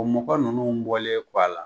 O mɔgɔ ninnu bɔlen kɔ a la